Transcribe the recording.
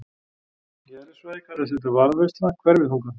Í eðlisfræði kallast þetta varðveisla hverfiþunga.